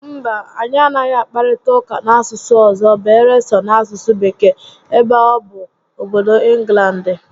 Mba, anyị anaghị akparịta ụka n'asụsụ ọzọ beere so n'asụsụ Bekee, ebe a bụ obodo Ịnglandị